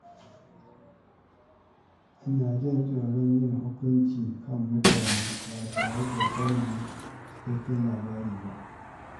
Ina jin tsoron yin hukunci kan mutane ba tare da sanin cikakken labari ba.